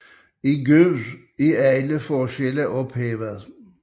I Gud er alle forskelle ophævet